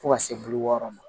Fo ka se bi wɔɔrɔ ma